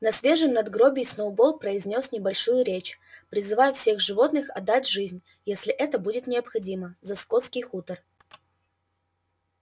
на свежем надгробии сноуболл произнёс небольшую речь призывая всех животных отдать жизнь если это будет необходимо за скотский хутор